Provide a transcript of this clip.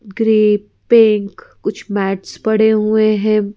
ग्री pink कुछ mats पड़े हुए हैं ।